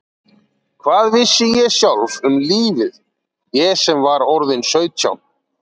Hvað vissi ég sjálf um lífið, ég sem var orðin sautján?